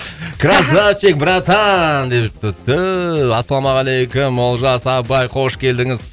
красавчик братан депті түү ассалаумағалейкум олжас абай қош келдіңіз